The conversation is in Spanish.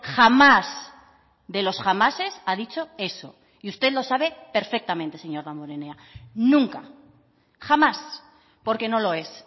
jamás de los jamases ha dicho eso y usted lo sabe perfectamente señor damborenea nunca jamás porque no lo es